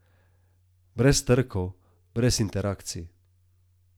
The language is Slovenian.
Brez trkov, brez interakcij.